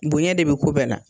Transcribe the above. Bonyɛn de bɛ ko bɛɛ la